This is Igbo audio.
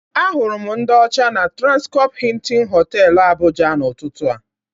Ahụrụ m ndị ọcha na Trankọpụ Hịịtịn Họtelụ, Abụja, n'ụtụtụ a.